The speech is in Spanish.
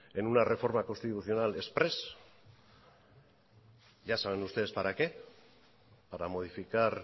en una reforma constitucional exprés ya saben ustedes para qué para modificar